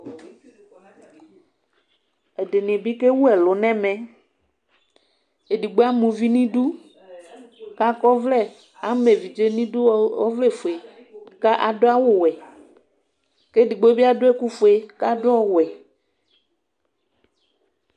Ɛdini bi kewʋ ɛlʋ nʋ ɛmɛ, edigbo ama ʋvi nʋ idʋ, kʋ akɔ ɔvlɛ, ama evidze nʋ idʋ ɔvlɛfue kʋ adʋ awʋwɛ kʋ edigno bi adʋ ɛkʋfue kʋ adʋ ɔwɛ